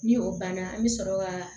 Ni o banna an bɛ sɔrɔ ka